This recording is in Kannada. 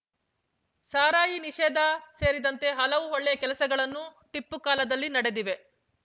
ಸಾರಾಯಿ ನಿಷೇಧ ಸೇರಿದಂತೆ ಹಲವು ಒಳ್ಳೆಯ ಕೆಲಸಗಳನ್ನು ಟಿಪ್ಪು ಕಾಲದಲ್ಲಿ ನಡೆದಿವೆ